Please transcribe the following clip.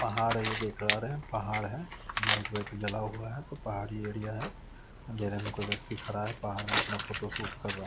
पहाड़ है ये देख पा रहे पहाड़ है लाइट वाईट भी लगा हुआ है तो पहाड़ी एरिया है अंधेरे में कोई व्यक्ति खड़ा है पहाड़ में अपना फोटो शूट कर रहा --